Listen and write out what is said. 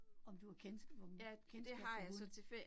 Om du har kendskab, kendskab til hunde